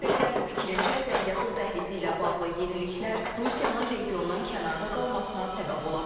Ekspertlərin fikrincə, Zəngəzur dəhlizi ilə bağlı yeniliklər Rusiyanın regiondan kənarda qalmasına səbəb ola bilər.